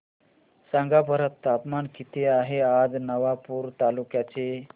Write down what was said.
सांगा बरं तापमान किता आहे आज नवापूर तालुक्याचे